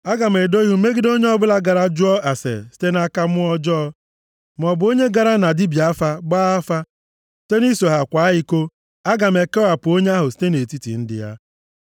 “ ‘Aga m edo ihu m megide onye ọbụla gara jụọ ase site nʼaka mmụọ ọjọọ, maọbụ onye gara na dibịa afa gbaa afa, site nʼiso ha kwaa iko. Aga m ekewapụ onye ahụ site nʼetiti ndị ya.